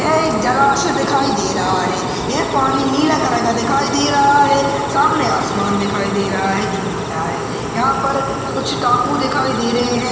यह एक जलाशय दिखाई दे रहा है यह पानी नीला कलर का दिखाई दे रहा है सामने आसमान दिखाई दे रहा है जो नीला है। यहाँ पर कुछ टापू दिखाई दे रहे है।